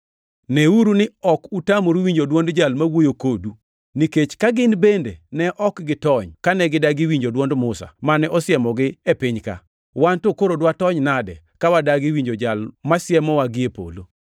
Neuru ni ok utamoru winjo dwond Jal ma wuoyo kodu. Nikech ka gin bende ne ok gitony kane gidagi winjo dwond Musa mane osiemogi e piny-ka, wan to koro dwatony nade ka wadagi winjo Jal masiemowa gie polo?